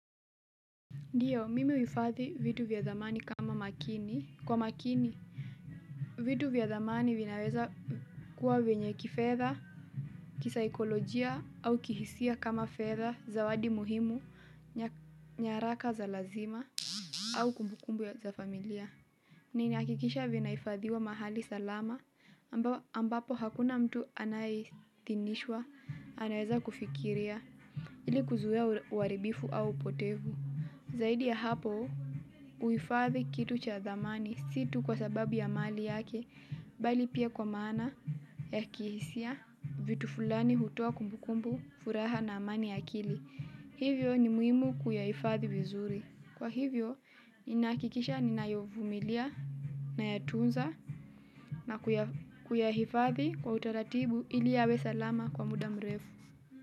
Ndiyo, mimi huifadhi vitu vya thamani kwa makini. Vitu vya thamani vinaweza kuwa wenye kifedha, kisikolojia au kihisia kama fedha, zawadi muhimu, nyaraka za lazima, au kumbukumbu ya za familia. Nina hakikisha vinahifadhiwa mahali salama ambapo hakuna mtu anayeidhinishwa, anaweza kufikiria ili kuzuia uharibifu au upotevu. Zaidi ya hapo, uhifadhi kitu cha zamani si tu kwa sababu ya mali yake, bali pia kwa maana ya kihisia vitu fulani hutoa kumbukumbu, furaha na amani ya kili. Hivyo ni muhimu kuyahifadhi vizuri. Kwa hivyo, ninahakikisha ninayavumilia nayatunza na kuyahifadhi kwa utaratibu ili yawe salama kwa muda mrefu.